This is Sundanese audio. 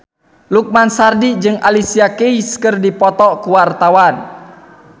Lukman Sardi jeung Alicia Keys keur dipoto ku wartawan